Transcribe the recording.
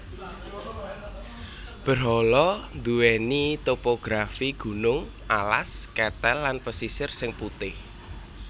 Berhala nduwèni topografi gunung alas ketel lan pesisir sing putih